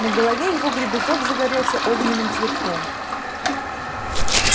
на голове его гребешок загорелся огненным цветком